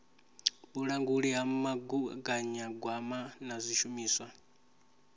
vhulanguli ha mugaganyagwama na zwishumiswa